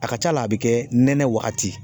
A ka ca la a bi kɛ nɛnɛ waagati.